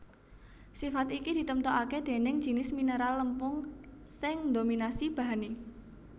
Sifat iki ditemtokaké déning jinis mineral lempung sing ndominasi bahané